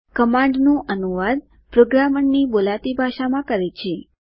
કમાન્ડનું અનુવાદ પ્રોગ્રામરની બોલાતી ભાષામાં કરે છે